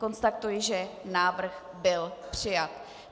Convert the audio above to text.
Konstatuji, že návrh byl přijat.